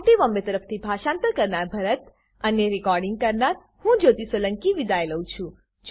IIT Bombay તરફથી હું ભરત સોલંકી વિદાય લઉં છું